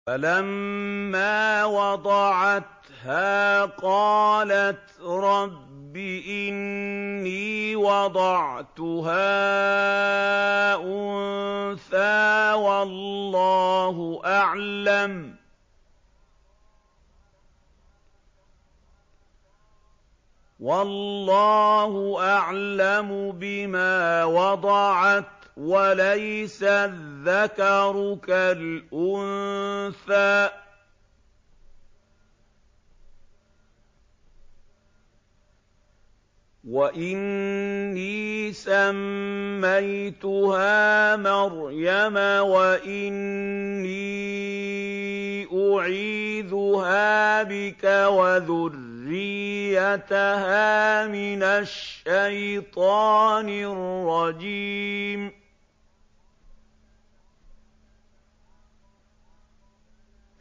فَلَمَّا وَضَعَتْهَا قَالَتْ رَبِّ إِنِّي وَضَعْتُهَا أُنثَىٰ وَاللَّهُ أَعْلَمُ بِمَا وَضَعَتْ وَلَيْسَ الذَّكَرُ كَالْأُنثَىٰ ۖ وَإِنِّي سَمَّيْتُهَا مَرْيَمَ وَإِنِّي أُعِيذُهَا بِكَ وَذُرِّيَّتَهَا مِنَ الشَّيْطَانِ الرَّجِيمِ